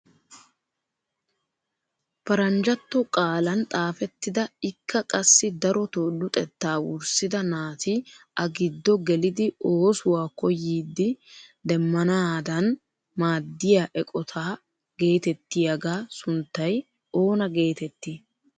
Paranjjatto qaalan xaafettida ikka qassi darotoo luxettaa wurssida naati a giddo qelidi oosuwaa koyyidi demmanaadan maadiyaa eqotaa getettiyaaga sunttay oona getettii?